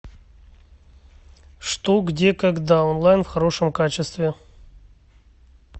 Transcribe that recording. что где когда онлайн в хорошем качестве